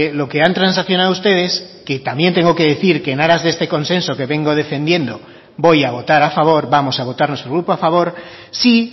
lo que han transaccionado ustedes que también tengo que decir que en aras de este consenso que vengo defendiendo voy a votar a favor vamos a votar nuestro grupo a favor sí